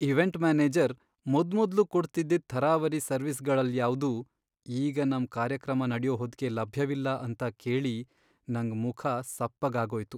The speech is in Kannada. ಇವೆಂಟ್ ಮ್ಯಾನೇಜರ್ ಮೊದ್ಮೊದ್ಲು ಕೊಡ್ತಿದ್ದಿದ್ ಥರಾವರಿ ಸರ್ವಿಸ್ಗಳಲ್ಯಾವ್ದೂ ಈಗ ನಮ್ ಕಾರ್ಯಕ್ರಮ ನಡ್ಯೋ ಹೊತ್ಗೆ ಲಭ್ಯವಿಲ್ಲ ಅಂತ ಕೇಳಿ ನಂಗ್ ಮುಖ ಸಪ್ಪಗಾಗೋಯ್ತು.